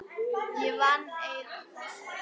Ég vann eið að þessu.